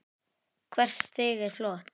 Hvert stig er flott.